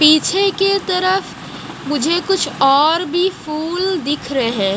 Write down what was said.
पीछे की तरफ मुझे कुछ और भी फूल दिख रहे--